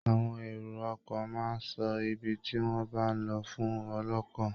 Àwọn èrò ọkọ̀ máa ń sọ ibi tí wọ́n bá ń lọ fún ọlọ́kọ̀